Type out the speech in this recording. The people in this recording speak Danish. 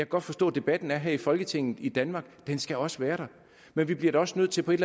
godt forstå at debatten er her i folketinget i danmark den skal også være der men vi bliver da også nødt til på et